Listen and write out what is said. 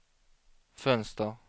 fönster